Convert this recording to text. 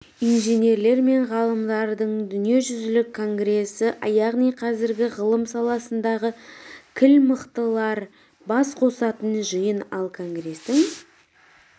инженерлер мен ғалымдардың дүниежүзілік конгресі яғни қазіргі ғылым саласындағы кіл мықтылар бас қосатын жиын ал конгрестің